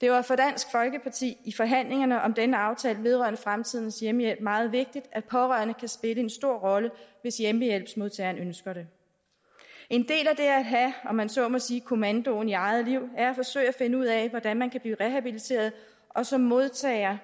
det var for dansk folkeparti i forhandlingerne om denne aftale vedrørende fremtidens hjemmehjælp meget vigtigt at pårørende kan spille en stor rolle hvis hjemmehjælpsmodtageren ønsker det en del af det at have om man så må sige kommandoen i eget liv er at forsøge at finde ud af hvordan man kan blive rehabiliteret og som modtager